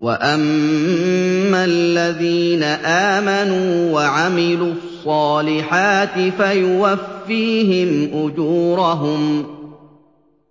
وَأَمَّا الَّذِينَ آمَنُوا وَعَمِلُوا الصَّالِحَاتِ فَيُوَفِّيهِمْ أُجُورَهُمْ ۗ